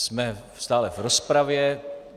Jsme stále v rozpravě.